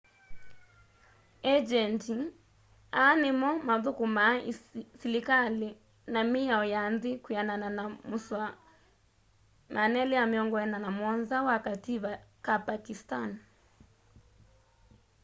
engyendi aa nimo mathukumaa silikali na miao ya nthi kwianana na musoa 247 wa kativa ka pakistani